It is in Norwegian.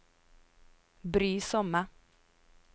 brysomme